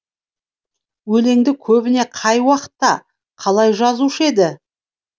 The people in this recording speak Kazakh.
өлеңді көбіне қай уақытта қалай жазушы еді